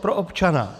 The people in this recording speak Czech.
pro občana.